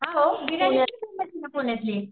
हा वो बिर्याणी पुण्यातली